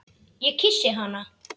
Ég kyssi hana.